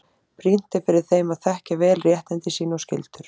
Brýnt er fyrir þeim að þekkja vel réttindi sín og skyldur.